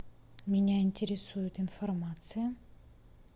меня интересует информация